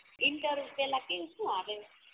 enter પેલા કેવું સુ આવે